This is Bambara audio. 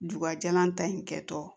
Bubajalan ta in kɛ tɔ